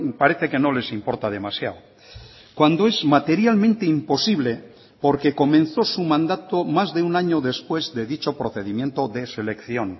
parece que no les importa demasiado cuando es materialmente imposible porque comenzó su mandato más de un año después de dicho procedimiento de selección